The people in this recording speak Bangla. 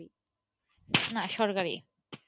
না, সরকারি।